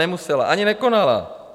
Nemusela, ani nekonala.